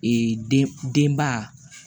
Ee denba